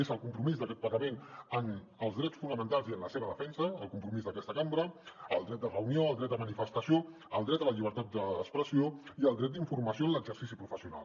és el compromís d’aquest parlament amb els drets fonamentals i amb la seva defensa el compromís d’aquesta cambra el dret de reunió el dret de manifestació el dret a la llibertat d’expressió i el dret d’informació en l’exercici professional